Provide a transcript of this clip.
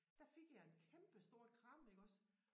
Der fik jeg et kæmpestort kram iggås